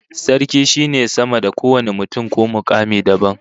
Sarki shine sama da kowane mutum ko mukami dabam